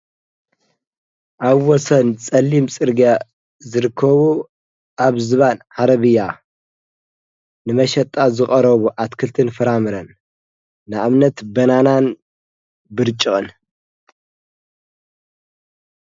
ኣብ ወሰን ጸሊም ጽርጋ ዝርኮቡ ኣብ ዝባን ሃረብያ ንመሸጣ ዘቐረቡ ኣትክልትን ፍራምረን ንአብነት በናናን ብርጭቕንእዮም።